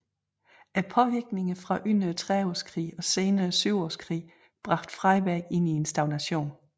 Påvirkningerne fra under trediveårskrigen og senere syvårskrigen bragte Freiberg ind i en stagnation